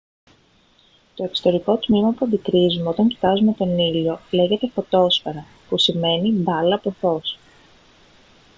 το εξωτερικό τμήμα που αντικρύζουμε όταν κοιτάζουμε τον ήλιο λέγεται φωτόσφαιρα που σημαίνει «μπάλα από φως»